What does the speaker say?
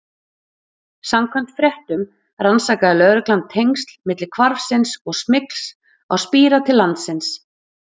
Samkvæmt fréttum rannsakaði lögreglan tengsl milli hvarfsins og smygls á spíra til landsins.